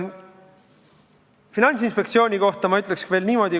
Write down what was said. Finantsinspektsiooni kohta ma ütleks veel niimoodi.